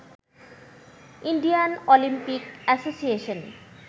Indian Olympic association